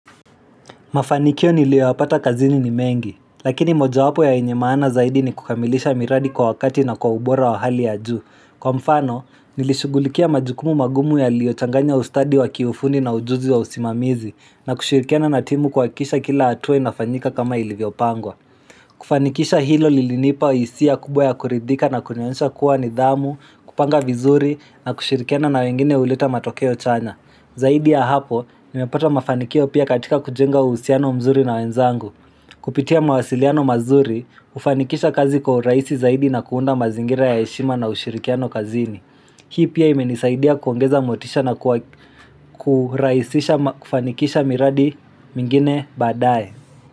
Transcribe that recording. Mafanikio niliopata kazini ni mengi, lakini moja wapo yenye maana zaidi ni kukamilisha miradi kwa wakati na kwa ubora wa hali ya ju. Kwa mfano, nilishugulikia majukumu magumu yaliochanganya ustadi wa kiufundi na ujuzi wa usimamizi na kushirikiana na timu kuhakisha kila hatua inafanyika kama ilivyo pangwa. Kufanikisha hilo lilinipa hisia kubwa ya kuridhika na kunionesha kuwa nidhamu, kupanga vizuri na kushirikiana na wengine huleta matokeo chanya. Mzuri na wenzangu. Kupitia mawasiliano mazuri, hufanikisha kazi kwa uraisi zaidi na kuunda mazingira ya heshima na ushirikiano kazini. Hii pia imenisaidia kuongeza motisha na kufanikisha miradi mingine baadae.